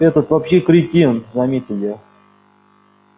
этот вообще кретин заметил я